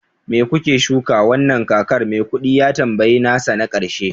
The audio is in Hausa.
me kuke shuka wannan kakar? maikudi ya tambayi nasa na karshe